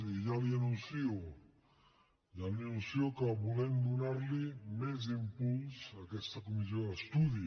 i ja li anuncio que volem donar li més impuls a aquesta comissió d’estudi